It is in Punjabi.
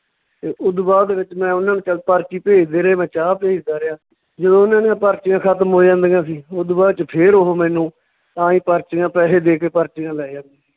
ਤੇ ਓਦੂ ਬਾਅਦ ਦੇ ਵਿੱਚ ਮੈਂ ਓਨਾਂ ਨੂੰ ਚੱਲ ਪਰਚੀ ਭੇਜਦੇ ਰਹੇ, ਮੈਂ ਚਾਹ ਭੇਜਦਾ ਰਿਹਾ, ਜਦੋਂ ਉਹਨਾਂ ਦੀਆਂ ਪਰਚੀਆਂ ਖਤਮ ਹੋ ਜਾਂਦੀਆਂ ਸੀ, ਓਦੂ ਬਾਅਦ ਚ ਫੇਰ ਓਹ ਮੈਨੂੰ ਆਏਂ ਪਰਚੀਆਂ ਪੈਸੇ ਦੇ ਕੇ ਪਰਚੀਆਂ ਲੈ ਜਾਂਦੇ ਸੀ।